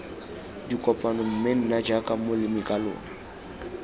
dikopano mme nna jaaka molemikalona